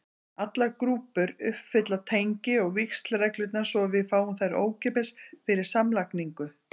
Allar grúpur uppfylla tengi- og víxlreglurnar, svo við fáum þær ókeypis fyrir samlagningu.